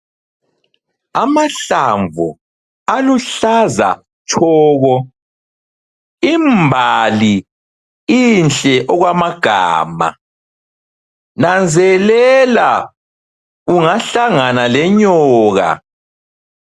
Amahlamnvu aluhlaza tshoko. Imbali inhle okwamagama. Nanzelela ungahlangana lenyoka.